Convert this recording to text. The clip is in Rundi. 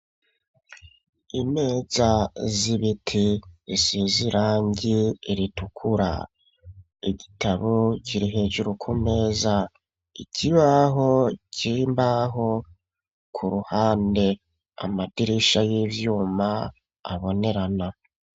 Imeza zibiti isizirangi ritukura. Igitabo kirihejuru ku meza ikibaho cimbaho ku ruhande, amadirisha y'ivyuma abonerana.